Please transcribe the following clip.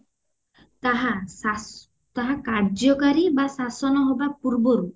ତାହା ସା ତାହା କାର୍ଯ୍ୟକାରୀ ବା ଶାସନ ହବା ପୂର୍ବରୁ